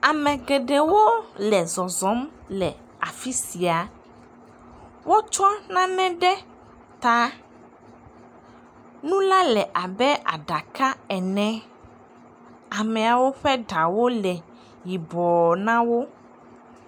Ame geɖewo le zɔzɔm le afi sia. Wotsɔ nane ɖe ta. Nu la le abe aɖake ene. Ameawo ƒe ɖawo le yibɔ na wo.